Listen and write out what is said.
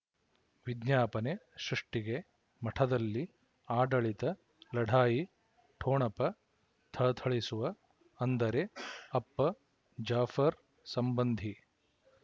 ವಿಜ್ಞಾಪನೆ ಸೃಷ್ಟಿಗೆ ಮಠದಲ್ಲಿ ಆಡಳಿತ ಲಢಾಯಿ ಠೊಣಪ ಥಳಥಳಿಸುವ ಅಂದರೆ ಅಪ್ಪ ಜಾಫರ್ ಸಂಬಂಧಿ